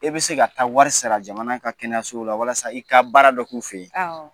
E bɛ se ka taa wari sara jamana ka kɛnɛyaɲɛso la walasa i ka baara dɔ k'u fɛ yen